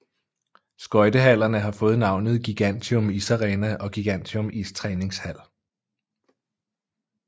Skøjtehallerne har fået navnet Gigantium Isarena og Gigantium Istræningshal